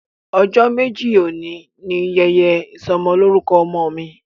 Ojo meji oni ni yẹyẹ isọmọlorukọ ọmọ mi.